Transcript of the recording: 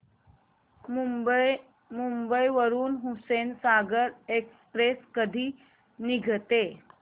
मुंबई वरून हुसेनसागर एक्सप्रेस कधी निघते